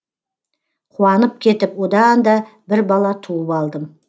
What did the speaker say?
қуанып кетіп одан да бір бала туып алдым